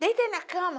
Deita ai na cama.